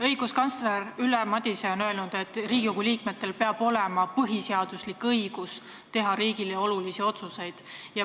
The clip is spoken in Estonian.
Õiguskantsler Ülle Madise on öelnud, et Riigikogu liikmetel on põhiseaduslik õigus teha riigile olulisi otsuseid.